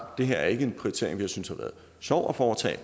det her ikke er en prioritering vi synes har været sjov at foretage